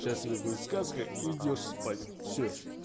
сейчас тебе будет сказка и идёшь спать всё